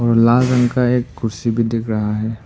और लाल रंग का एक कुर्सी भी दिख रहा है।